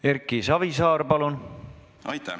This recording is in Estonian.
Erki Savisaar, palun!